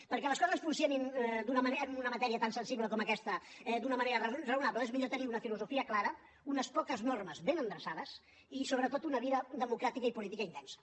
perquè les coses funcionin en una matèria tan sensible com aquesta d’una manera raonable és millor tenir una filosofia clara unes poques normes ben endreçades i sobretot una vida democràtica i política intensa